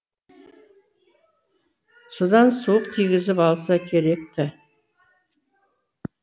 содан суық тигізіп алса керек ті